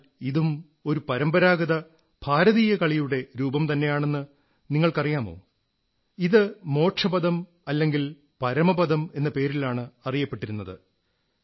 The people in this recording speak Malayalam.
എന്നാൽ ഇതും ഒരു പരമ്പരാഗത ഭാരതീയ കളിയുടെരൂപം തന്നെയാണെന്ന് നിങ്ങൾക്കറിയാമോ ഇത് മോക്ഷപദം അല്ലെങ്കിൽ പരമപദം എന്ന പേരിലാണ് അറിയപ്പെട്ടിരുന്നത്